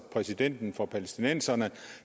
præsidenten for palæstinenserne